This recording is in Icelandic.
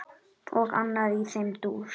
Og annað í þeim dúr.